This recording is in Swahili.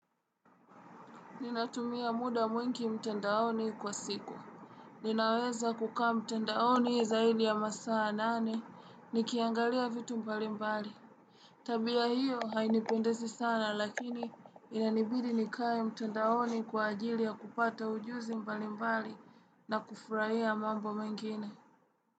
Ninatumia muda mwingi mtandaoni kwa siku. Ninaweza kukaa mtandaoni zaidi ya masaa nane, nikiangalia vitu mbalimbali. Tabia hiyo hainipendezi sana lakini inanibidi nikae mtandaoni kwa ajili ya kupata ujuzi mbalimbali na kufurahia mambo mengine.